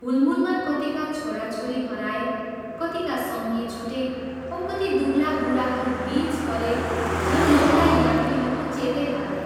हूलमूलमा कतिका छोरा छोरी हराए, कतिका सङ्गी छुटे औ कति दुब्ला बूढाहरू बीच परे झन् नौला यात्रीहरूको चेतै हरायो।